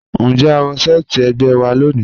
Njẹ́ à wọ̀ sẹ̀ẹtí ẹ̀gbẹ́ wà lónì?